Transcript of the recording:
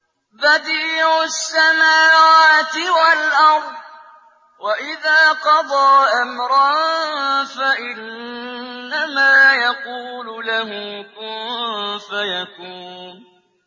بَدِيعُ السَّمَاوَاتِ وَالْأَرْضِ ۖ وَإِذَا قَضَىٰ أَمْرًا فَإِنَّمَا يَقُولُ لَهُ كُن فَيَكُونُ